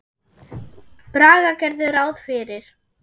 Braga gerðu ráð fyrir.